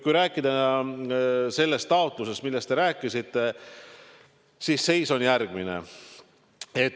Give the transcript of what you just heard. Kui rääkida sellest taotlusest, millest te rääkisite, siis seis on järgmine.